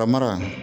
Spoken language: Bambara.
Ka mara